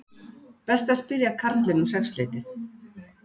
Best að spyrja karlinn um sexleytið